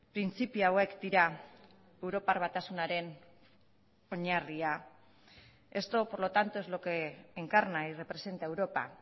printzipio hauek dira europar batasunaren oinarria esto por lo tanto es lo que encarna y representa europa